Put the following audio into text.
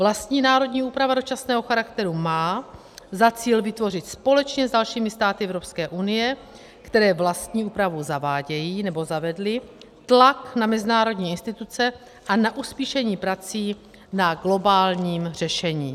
Vlastní národní úprava dočasného charakteru má za cíl vytvořit společně s dalšími státy Evropské unie, které vlastní úpravu zavádějí nebo zavedly, tlak na mezinárodní instituce a na uspíšení prací na globálním řešení.